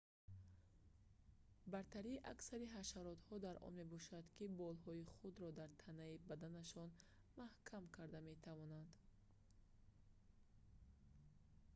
бартарии аксари ҳашаротҳо дар он мебошад ки болҳои худро дар танаи баданашон маҳкам карда метавонанд